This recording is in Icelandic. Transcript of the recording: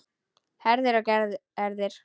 Herðir og herðir.